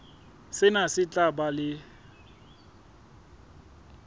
sena se tla ba le